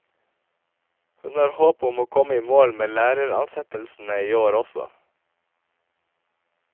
Hun har håp om å komme i mål med læreransettelsene i år også.